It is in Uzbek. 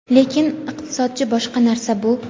Lekin iqtisodchi boshqa narsa bu.